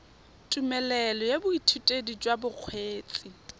tumelelo ya boithutedi jwa bokgweetsi